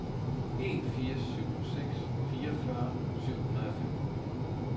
en fire syv seks fireogfyrre syv hundrede og femten